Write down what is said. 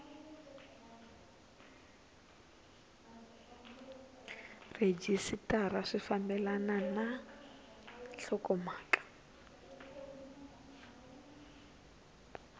rhejisitara swi fambelana na nhlokomhaka